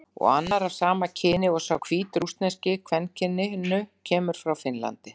Og annar, af sama kyni og sá hvítrússneski, kvenkyninu, kemur frá Finnlandi.